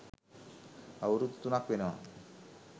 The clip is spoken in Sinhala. අවුරුදු තුනක් වෙනවා.